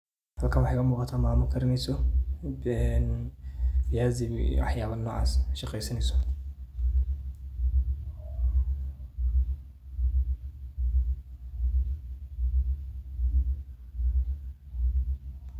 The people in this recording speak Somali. Halkan waxa iga muqdah mama karineysoh ee viazi waxayabha noocass oo shqeesaneysoh .